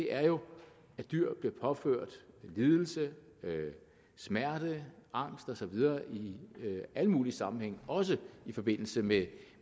er jo at dyr bliver påført lidelse smerte angst og så videre i alle mulige sammenhænge også i forbindelse med